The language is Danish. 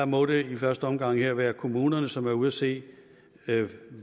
må det i første omgang være være kommunerne som er ude at se